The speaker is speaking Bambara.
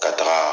Ka taga